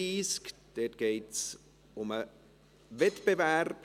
Dabei geht es um den Wettbewerb.